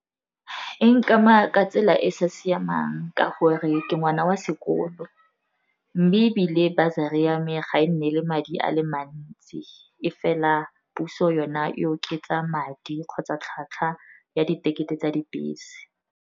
E nkama ka tsela e e sa siamang ka gore ke ngwana wa sekolo, mme ebile bursery ya me ga e nne le madi a le mantsi, e fela puso yona e oketsa madi kgotsa tlhwatlhwa ya ditekete tsa dibese.